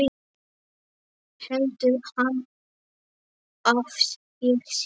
Heldur hann að ég sé.